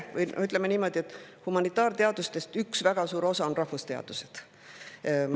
Ütleme niimoodi, et humanitaarteadustest üks väga suur osa on rahvusteadused.